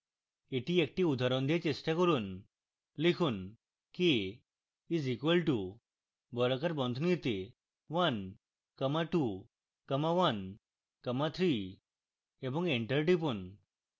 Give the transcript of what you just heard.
এটি একটি উদাহরণ দিয়ে চেষ্টা করুন লিখুন k is equal to বর্গাকার বন্ধনীতে one comma two comma one comma three এবং enter টিপুন